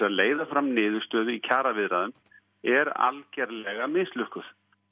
að leiða fram niðurstöðu í kjaraviðræðum er algjörlega mislukkuð